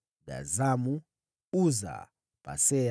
wazao wa Gazamu, Uza, Pasea,